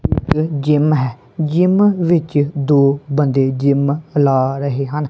Gym ਹੈ gym ਵਿੱਚ ਦੋ ਬੰਦੇ ਜਿਮ ਲਾ ਰਹੇ ਹਨ।